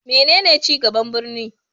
Menene ci gaban birni?